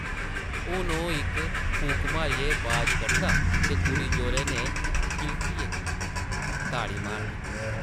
हून ओह् इक फूक मारियै बाज कढदा ते कुड़ी जोरै नै किलकियै ताड़ी मारदी ।